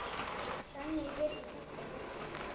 Þannig get ég hjálpað fólki.